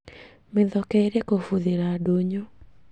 Mĩthoke ĩrĩ kũbuthĩra ndũnyũ